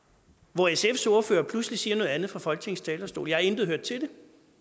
hvor sfs ordfører pludselig siger noget andet fra folketingets talerstol jeg har intet hørt til